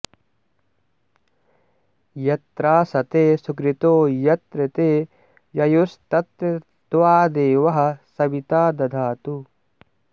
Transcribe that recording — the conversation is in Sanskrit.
यत्रास॑ते सु॒कृतो॒ यत्र॒ ते य॒युस्तत्र॑ त्वा दे॒वः स॑वि॒ता द॑धातु